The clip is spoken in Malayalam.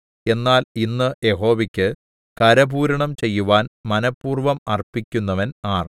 എന്നാൽ ഇന്ന് യഹോവയ്ക്ക് കരപൂരണം ചെയ്യുവാൻ മനഃപൂർവ്വം അർപ്പിക്കുന്നവൻ ആർ